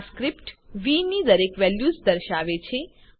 આ સ્ક્રીપ્ટ વી ની દરેક વેલ્યુઝ દર્શાવે છે